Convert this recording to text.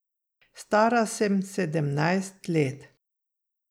Stara sem sedemnajst let.